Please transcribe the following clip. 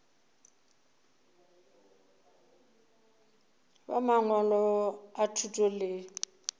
ba mangwalo a thuto le